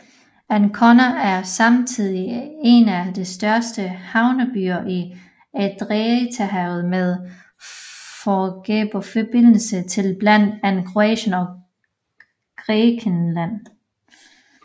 Ancona er samtidig en af de største havnebyer i Adriaterhavet med færgeforbindelser til blandt andet Kroatien og Grækenland